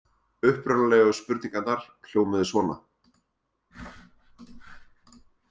Upprunalegu spurningarnar hljómuðu svona: